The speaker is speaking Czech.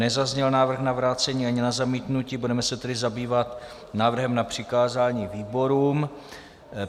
Nezazněl návrh na vrácení ani na zamítnutí, budeme se tedy zabývat návrhem na přikázání výborům.